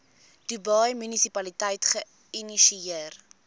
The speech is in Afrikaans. dubai munisipaliteit geïnisieer